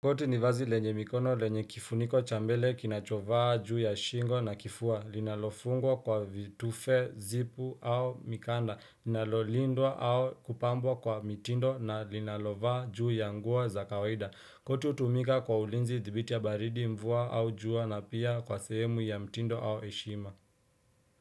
Koti ni vazi lenye mikono lenye kifuniko cha mbele kinachovaa juu ya shingo na kifua, linalofungwa kwa vitufe, zipu au mikanda, linalolindwa au kupambwa kwa mitindo na linalovaa juu ya nguo za kawaida. Koti hutumika kwa ulinzi dhibiti ya baridi mvua au jua na pia kwa sehemu ya mtindo au heshima.